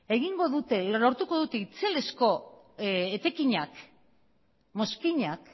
lortuko dute itzelezko etekinak mozkinak